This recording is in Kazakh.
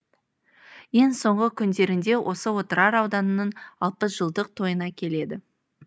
ен соңғы күндерінде осы отырар ауданының алпыс жылдық тойына келіді